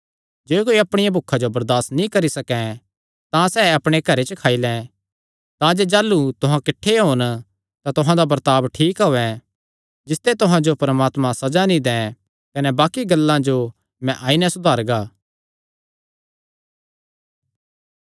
जे कोई अपणिया भुखा जो बरदासत नीं करी सकैं तां सैह़ अपणे घरे च खाई लैं तांजे जाह़लू तुहां किठ्ठे होन तां तुहां दा बर्ताब ठीक होयैं जिसते तुहां जो परमात्मा सज़ा नीं दैं कने बाक्कि गल्लां जो मैं आई नैं सुधारगा